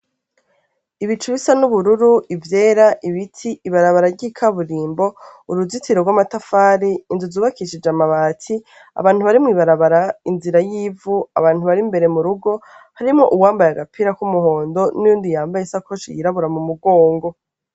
Ibicu bisa n'ubururu, ivyera, ibiti, ibarabara ry'ikaburimbo, uruzitiro rw'amatafari, inzu zubakishije amabati, abantu bari mw'ibarabara, inzira y'ivu, abantu bari imbere mu rugo harimwo uwambaye agapira k'umuhondo n'uwundi yambaye isakoshi yirabura mu mugongo.